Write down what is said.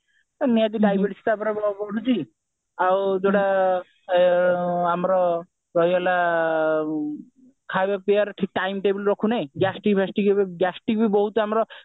ନିହାତି ଭାବରେ ଗୋଟେ ପଡୁଛି ଆମର ରହିଗଲା ଖାଇବା ପିଇବାର ଠିକ time table ରଖୁନେ gastric ଫାଷ୍ଟ୍ରିକ ଏବେ gastric ବି ଆମର